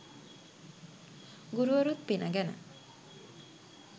ගුරුවරුත් පින ගැන